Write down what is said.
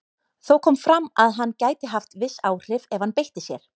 Þó kom fram að hann gæti haft viss áhrif ef hann beitti sér.